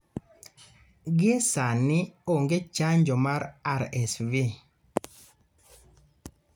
Gie sani onge chanjo mar RSV